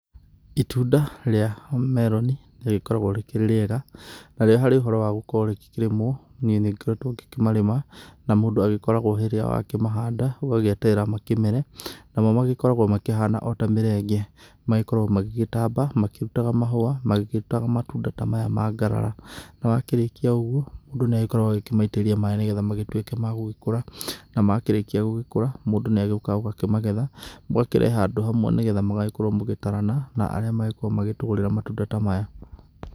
Itunda rĩa meroni nĩ rĩkoragwo rĩkĩrĩ rĩega narĩo harĩ ũhoro wa gũkorwo rĩgĩkĩrĩmwo niĩ nĩ ngoretwo ngĩkĩmarĩma. Na mũndũ agĩkoragwo rĩrĩa wakĩmahanda ũgagĩeterera makĩmere namo magĩkoragwo makĩhana ota mĩrenge. Makoragwo magĩgĩtamba makĩrutaga mahũa makĩrutaga matunda ta maya ma ngarara. Na wakĩrĩkia ũguo mũndũ nĩ akoragwo agĩkĩmaitĩriria maaĩ nĩ getha magĩtuĩke magũgĩkũra. Na makĩrĩkia gũgĩkũra mũndũ nĩ agĩũkaga ũkamagetha ũgakĩrehe handũ hamwe nĩ getha mũgagĩkorwo mũgĩtarana na arĩa magĩkoragwo magĩtugũrĩra matunda ta maya.